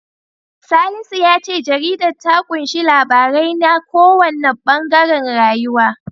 Salisu ya ce jaridar ta ƙunshi labarai na kowanne ɓangaren rayuwa.